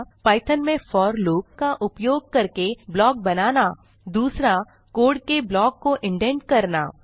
Python में for loop का उपयोग करके ब्लॉक बनाना 2कोड के ब्लॉक को इंडेंट करना 3